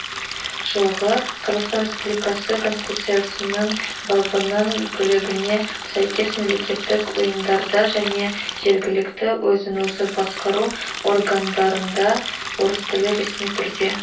жылғы қазақстан республикасы конституциясының бабының бөлігіне сәйкес мемлекеттік ұйымдарда және жергілікті өзін-өзі басқару органдарында орыс тілі ресми түрде